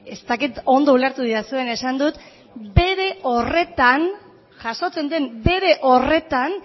ez dakit ondo ulertu didazuen esan dut bere horretan jasotzen den bere horretan